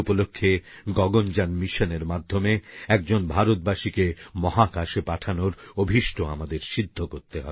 এই উপলক্ষে গগনযান মিশনএর মাধ্যমে একজন ভারতবাসীকে মহাকাশে পাঠানোর অভীষ্ট আমাদের সিদ্ধ করতে হবে